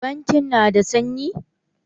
Bankin na da sanyi